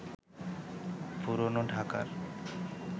পুরনো ঢাকার